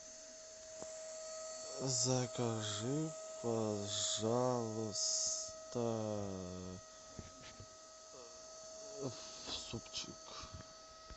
закажи пожалуйста супчик